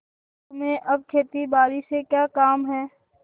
तुम्हें अब खेतीबारी से क्या काम है